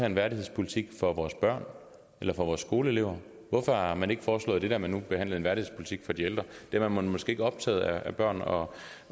en værdighedspolitik for vores børn eller for vores skoleelever hvorfor har man ikke foreslået det da man nu behandlede en værdighedspolitik for de ældre er man måske ikke optaget af børn og